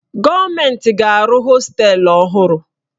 Gọọmentị ga-arụ hostelu ọhụrụ.